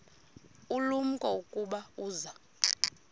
ulumko ukuba uza